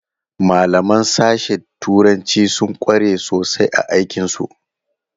Malaman sashe turanci sun kware sosai a aikin su.